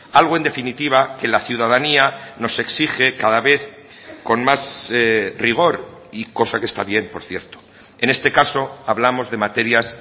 algo en definitiva que la ciudadanía nos exige cada vez con más rigor y cosa que está bien por cierto en este caso hablamos de materias